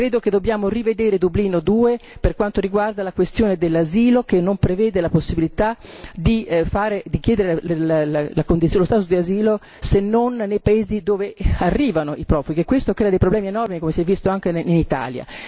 Credo che dobbiamo rivedere Dublino II per quanto riguarda la questione dell'asilo, che non prevede la possibilità di chiedere lo stato di asilo se non nei paesi dove arrivano i profughi e questo crea dei problemi enormi, come si è visto anche in Italia.